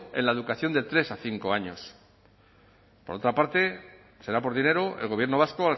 en la educación de tres a cinco años por otra parte será por dinero el gobierno vasco